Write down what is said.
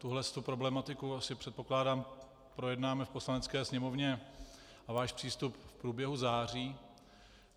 Tuhle problematiku asi, předpokládám, projednáme v Poslanecké sněmovně, a váš přístup, v průběhu září.